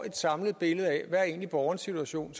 et samlet billede af hvad borgerens situation